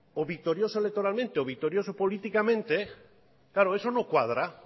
o victorioso electoralmente o victorioso políticamente claro eso no cuadra